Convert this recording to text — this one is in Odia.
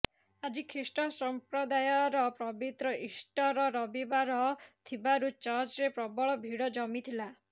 ଆଜି ଖ୍ରୀଷ୍ଟ ସଂପ୍ରଦାୟର ପବିତ୍ର ଇଷ୍ଟର୍ ରବିବାର ଥିବାରୁ ଚର୍ଚ୍ଚରେ ପ୍ରବଳ ଭିଡ଼ ଜମିଥିଲା